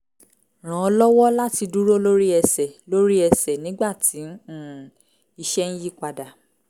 ràn án lọ́wọ́ láti dúró lórí ẹsẹ̀ lórí ẹsẹ̀ nígbà tí um iṣẹ́ ń yí padà